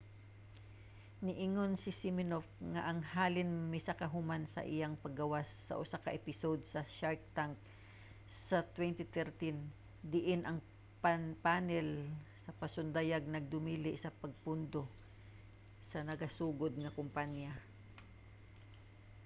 niingon si siminoff nga ang halin misaka human sa iyang paggawas sa usa ka episode sa shark tank sa 2013 diin ang panel sa pasundayag nagdumili sa pagpundo sa nagasugod nga kumpanya